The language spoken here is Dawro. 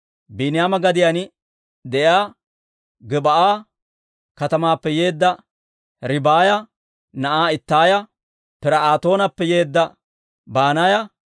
Biiniyaama gadiyaan de'iyaa Gib'aa katamaappe yeedda Ribaaya na'aa Ittaaya, Pir"aatoonappe yeedda Banaaya,